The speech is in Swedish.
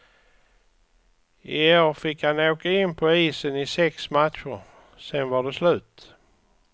I år fick han åka in på isen i sex matcher, sen var det slut.